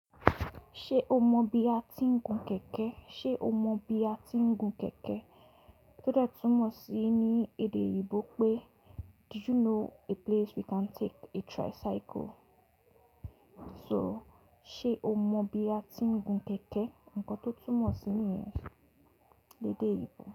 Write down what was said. Ṣé o mọ ibi a ti ń gun kẹ̀kẹ́? Ṣé o mọ ibi a ti ń gun kẹ̀kẹ́? Tó dẹ̀ túmọ̀ sí ní èdè èyìnbó pé "Do you know a place we can take a tricycle?" So, sé o mọ ibi a ti ń gun kẹ̀kẹ́? Ǹkan tó túmọ̀ sí ní yẹn lédè èyìnbó.